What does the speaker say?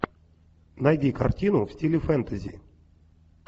найди картину в стиле фэнтези